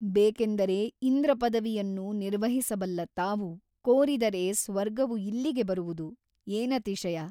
ಬೇಕೆಂದರೆ ಇಂದ್ರಪದವಿಯನ್ನು ನಿರ್ವಹಿಸಬಲ್ಲ ತಾವು ಕೋರಿದರೆ ಸ್ವರ್ಗವು ಇಲ್ಲಿಗೆ ಬರುವುದು ಏನತಿಶಯ ?